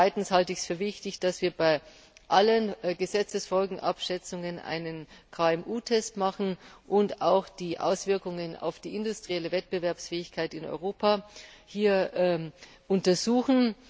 Zweitens halte ich es für wichtig, dass wir bei allen Gesetzesfolgenabschätzungen einen KMU Test machen und auch die Auswirkungen auf die industrielle Wettbewerbsfähigkeit in Europa untersuchen.